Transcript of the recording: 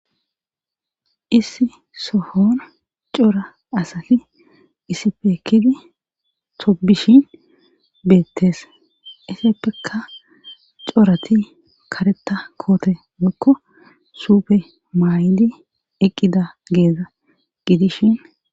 Issi sohona cora asati isifeekidi tobishin beettees isseppeka corati kareta koote mekko suupe maay7di eqqida geeza gidishin.